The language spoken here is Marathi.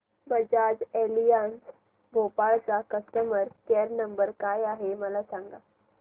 बजाज एलियांज भोपाळ चा कस्टमर केअर क्रमांक काय आहे मला सांगा